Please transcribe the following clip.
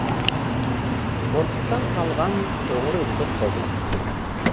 қорқыттан қалған қоңыр үнді қобыз